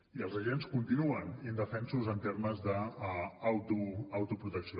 i els agents continuen indefensos en termes d’autoprotecció